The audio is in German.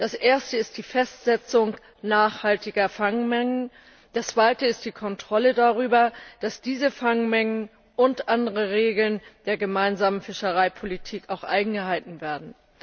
Das erste ist die Festsetzung nachhaltiger Fangmengen, das zweite ist die Kontrolle darüber, dass diese Fangmengen und andere Regeln der Gemeinsamen Fischereipolitik auch eingehalten werden.